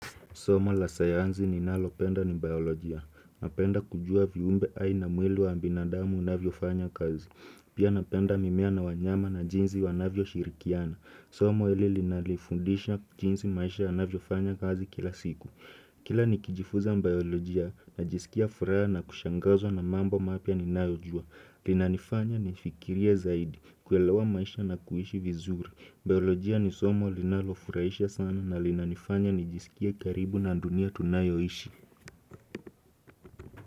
Soma la sayanzi ninalopenda ni biolojia. Napenda kujua viumbe ai na mwili wa mbinadamu unavyofanya kazi. Pia napenda mimea na wanyama na jinzi wanavyoshirikiana. Soma ili linalifundisha jinzi maisha yanavyo fanya kazi kila siku. Kila nikijifuza mbiolojia, najisikia furaha na kushangazwa na mambo mapya ninayojua. Linanifanya nifikirie zaidi, kuelewa maisha na kuhishi vizuri. Biolojia ni somo linalofuraisha sana na linanifanya nijisikie karibu na dunia tunayoishi.